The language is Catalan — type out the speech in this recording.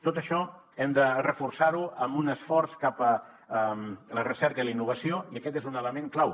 tot això hem de reforçar ho amb un esforç cap a la recerca i la innovació i aquest és un element clau